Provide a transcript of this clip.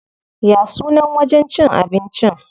Ya sunan wajen cin abincin?